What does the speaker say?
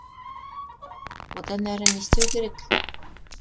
одан әрі не істеу керек